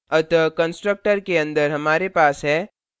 अतः constructor के अंदर हमारे पास हैः